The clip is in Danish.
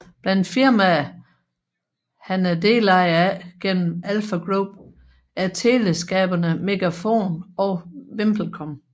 Blandt firmaer han er delejer af gennem Alfa Group er teleselskaberne Megafon og VimpelCom